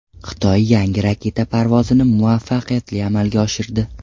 Xitoy yangi raketa parvozini muvaffaqiyatli amalga oshirdi.